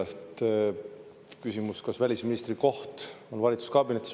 Oli küsimus, kas välisministri koht on valitsuskabinetis.